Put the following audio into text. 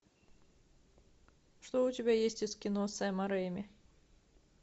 что у тебя есть из кино сэма ремми